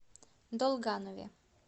долганове